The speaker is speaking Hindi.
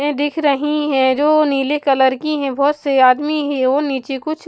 हैं दिख रही है जो नीले कलर की हैं बहुत से आदमी ही ओ नीचे कुछ --